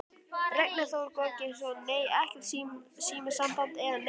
Ragnar Þór Georgsson: Nei, ekkert símasamband eða neitt svoleiðis?